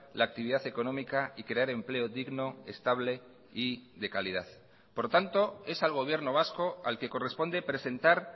la actividad económica y crear empleo digno estable y de calidad por tanto es al gobierno vasco al que corresponde presentar